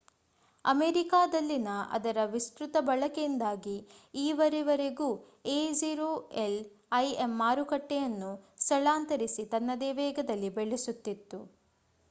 ಅಮೇರಿಕಾದಲ್ಲಿನ ಅದರ ವಿಸ್ತ್ರುತ ಬಳಕೆಯಿಂದಾಗಿ ಈವರೆವರೆಗೂ aol im ಮಾರುಕಟ್ಟೆಯನ್ನು ಸ್ಥಳಾಂತರಿಸಿ ತನ್ನದೇ ವೇಗದಲ್ಲಿ ಬೆಳೆಸುತ್ತಿತ್ತು